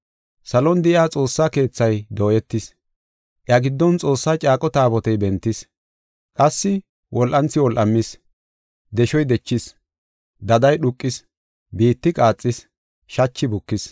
Salon de7iya Xoossa Keethay dooyetis; iya giddon Xoossaa caaqo Taabotey bentis. Qassi wol7anthi wol7amis, deshoy dechis; daday dhuuqis; biitti qaaxis; shachi bukis.